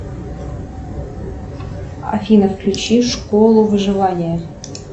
афина включи школу выживания